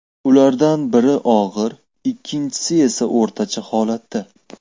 Ulardan biri og‘ir, ikkinchisi esa o‘rtacha holatda.